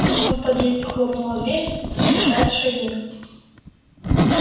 внизу в подъезде хлопнула дверь застучали шаги